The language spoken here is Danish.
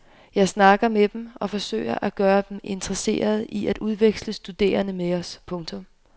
Jeg snakker med dem og forsøger at gøre dem interesserede i at udveksle studerende med os. punktum